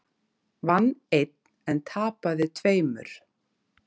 Vann einn en tapaði tveimur